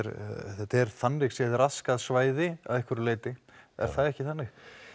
þetta er þannig séð raskað svæði að einhverju leyti er það ekki þannig